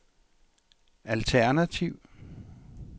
alternativ